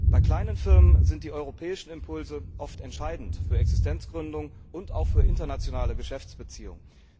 Bei kleinen Firmen sind die europäischen Impulse oft entscheidend für Existenzgründungen und auch für internationale Geschäftsbeziehungen.